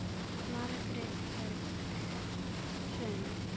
Margrét Hrönn.